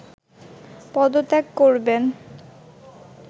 পদত্যাগ করবেন